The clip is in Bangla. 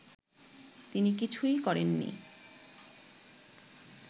তিনি কিছুই করেননি